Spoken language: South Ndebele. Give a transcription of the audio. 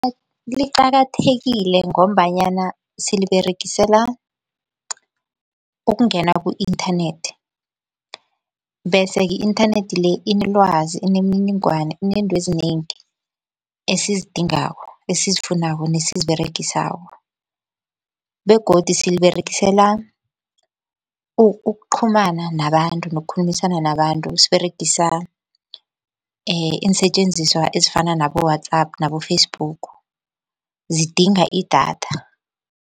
Liqakathekile ngombanyana siliberegisela ukungena ku-inthanethi, bese i-inthanethi le inelwazi, inemininingwana, inentwezinengi esizidingako, esizifunako nesiziberegisako. Begodu siliberegisela ukuqhumana nabantu nokukhulumisana nabantu siberegisa iinsetjenziswa ezifana nabo-WhatsApp nabo-Facebook zidinga idatha.